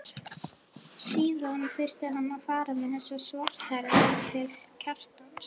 Síðan þurfti hann að fara með þessa svarthærðu til Kjartans.